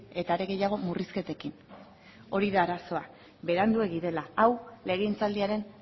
eta are gehiago murrizketekin hori da arazoa beranduegi dela hau legegintzaldiaren